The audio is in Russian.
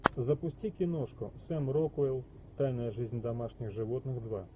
запусти киношку сэм рокуэлл тайная жизнь домашних животных два